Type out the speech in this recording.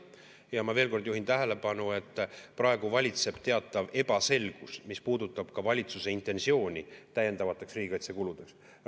Ja ma veel kord juhin tähelepanu, et praegu valitseb teatav ebaselgus, mis puudutab valitsuse intentsiooni täiendavateks riigikaitsekuludeks.